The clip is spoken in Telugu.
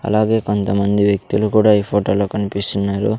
అలాగే కొంతమంది వ్యక్తులు కూడా ఈ ఫోటోలో కనిపిస్తున్నారు.